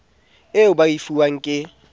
eo ba e fuwang ke